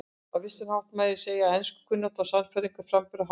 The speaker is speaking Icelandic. Á vissan hátt mátti segja að enskukunnátta og sannfærandi framburður hávaxna